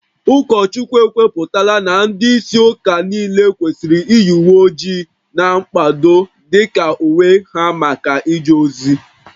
Ụkọchukwu ekwupụtala na ndị isi ụka niile kwesịrị iyi uwe ojii na mkpado dị ka uwe ha maka ije ozi